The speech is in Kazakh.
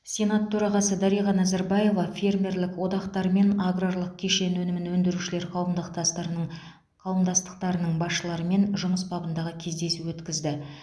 сенат төрағасы дариға назарбаева фермерлік одақтар мен аграрлық кешен өнімін өндірушілер қауымдықтастарының қауымдастықтарының басшыларымен жұмыс бабындағы кездесу өткізді